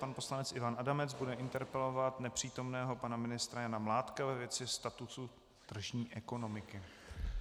Pan poslanec Ivan Adamec bude interpelovat nepřítomného pana ministra Jana Mládka ve věci statusu tržní ekonomiky.